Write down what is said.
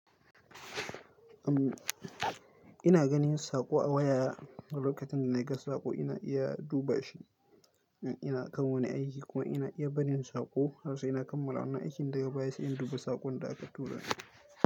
Ina ganin sako a waya. Lokacin da na ga sako ina iya duba shi in ina kamoni aiki kuma ina iya barin sako har sai ina kammala wannan aikin da bayar sai in duba sakon da aka tura min.